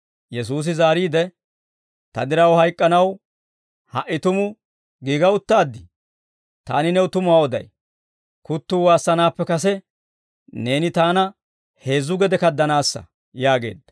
Yesuusi zaariide, «Ta diraw hayk'k'anaw ha"i tumu giiga uttaaddii? Taani new tumuwaa oday; kuttuu waassanaappe kase, neeni Taana heezzu gede kaddanaassa» yaageedda.